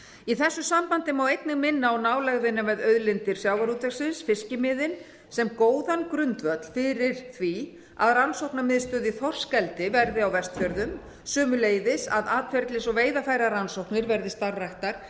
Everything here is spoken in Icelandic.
í þessu sambandi má einnig minna á nálægðina við auðlindir sjávarútvegsins fiskimiðin sem góðan grundvöll fyrir því að rannsóknamiðstöð í þorskeldi verði á vestfjörðum sömuleiðis að atferlis og veiðarfærarannsóknir verði starfræktar